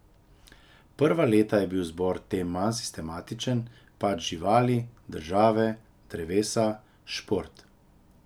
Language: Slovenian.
Prva leta je bil izbor tem manj sistematičen, pač živali, države, drevesa, šport ...